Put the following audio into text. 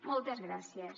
moltes gràcies